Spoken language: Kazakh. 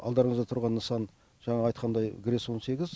алдарыңызда тұрған нысан жаңағы айтқандай грэс он сегіз